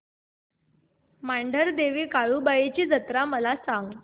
मांढरदेवी काळुबाई ची जत्रा मला सांग